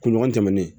Kunɲɔgɔn tɛmɛnen